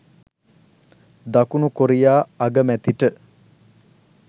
දකුණු කොරියා අගමැතිට